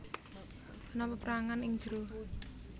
Ana peperangan ing njero